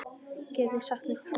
Getið þið sagt mér það?